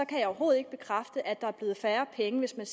kan jeg overhovedet ikke bekræfte at der er blevet færre penge hvis man